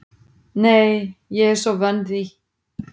Nei, ég er svo vön því.